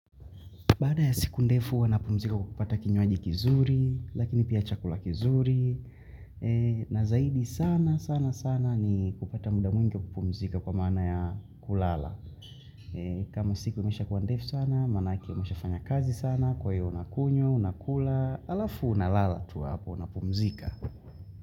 Baada ya siku ndefu huwa napumzika kukupata kinyuaji kizuri, lakini pia chakula kizuri. Na zaidi sana sana sana ni kupata muda mwingi kupumzika kwa maana ya kulala. Kama siku imesha kuwa ndefu sana, manake imiesha fanya kazi sana, kwa hiyo unakunywa, unakula, halafu unalala tu hapo unapumzika.